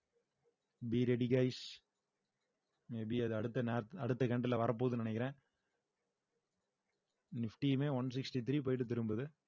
be ready guys may be அது அடுத்த nap அடுத்த country ல வரப்போகுதுன்னு நினைக்கிறேன் nifty யுமே one sixty three போயிட்டு திரும்புது